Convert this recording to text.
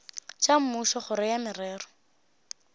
tša mmušo kgoro ya merero